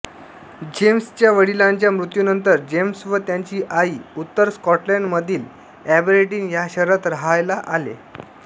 जेम्सच्या वडिलांच्या मृत्यूनंतर जेम्स व त्याची आई उत्तर स्कॉटलंडमधील एबरडीन या शहरात राहायला आले